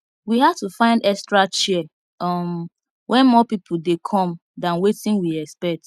we had to find extra chair um when more people dey come than wetin we expect